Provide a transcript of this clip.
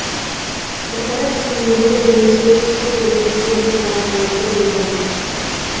қорқыныш сезімдері немесе түсте бір нәрсеге қуанғанымды білдім